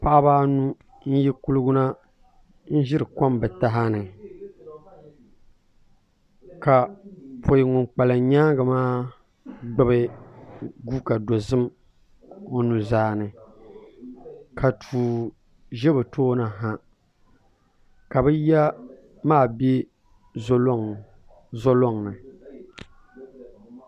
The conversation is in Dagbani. Paɣaba anu n yi kuligi na n ʒiri kom bi taha ni ka poi ŋun kpalim nyaangi maa gbubi guuka dozim o nuzaa ni ka tuu ʒɛ bI tooni ha ka bi ya maa bɛ zo loŋni